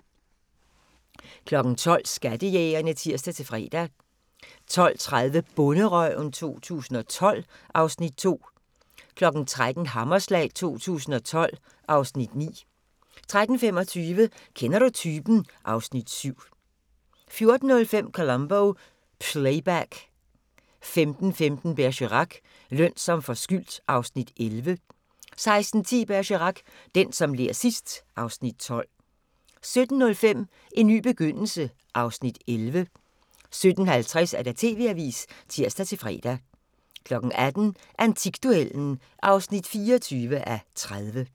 12:00: Skattejægerne (tir-fre) 12:30: Bonderøven 2012 (Afs. 2) 13:00: Hammerslag 2012 (Afs. 9) 13:25: Kender du typen? (Afs. 7) 14:05: Columbo: Playback 15:15: Bergerac: Løn som forskyldt (Afs. 11) 16:10: Bergerac: Den, der ler sidst ... (Afs. 12) 17:05: En ny begyndelse (Afs. 11) 17:50: TV-avisen (tir-fre) 18:00: Antikduellen (24:30)